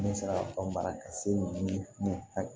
Ne sera ka ban baara ka se hinɛ